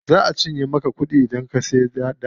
Za a cinye maka kuɗi idan ka siya data.